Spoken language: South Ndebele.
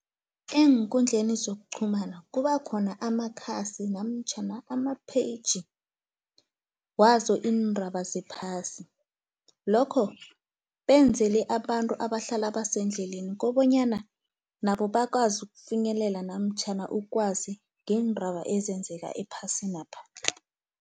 Eenkundleni zokuqhumana kubakhona amakhasi, namtjhana ama-page, wazo iindraba zephasi. Lokho benzele abantu abahlala basendleleni, kobanyana nabo bakwazi ukufinyelela, namtjhana ukwazi ngeendraba ezenzeka ephasinapha.